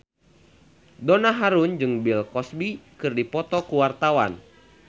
Donna Harun jeung Bill Cosby keur dipoto ku wartawan